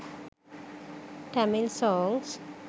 tamil songs